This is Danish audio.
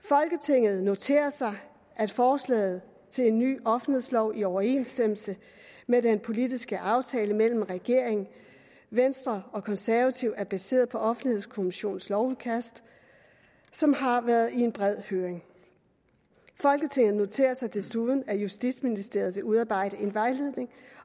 folketinget noterer sig at forslaget til en ny offentlighedslov i overensstemmelse med den politiske aftale mellem regeringen venstre og konservative er baseret på offentlighedskommissionens lovudkast som har været i en bred høring folketinget noterer sig desuden at justitsministeriet vil udarbejde en vejledning